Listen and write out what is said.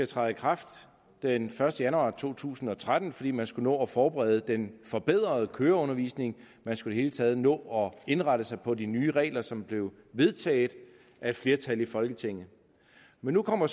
træde i kraft den første januar to tusind og tretten fordi man skulle nå at forberede den forbedrede køreundervisning man skulle i taget nå at indrette sig på de nye regler som blev vedtaget af et flertal i folketinget nu kommer